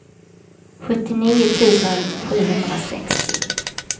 sjuttionio tusen sjuhundrasextio